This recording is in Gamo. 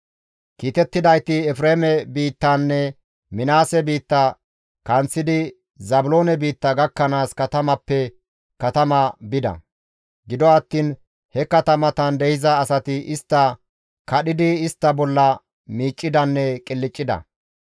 Kiitettidayti Efreeme biittanne Minaase biitta kanththidi Zaabiloone biitta gakkanaas katamappe katama bida; gido attiin he katamatan de7iza asati istta kadhidi istta bolla miiccidanne qilccida.